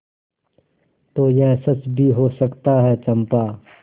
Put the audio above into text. तो यह सच भी हो सकता है चंपा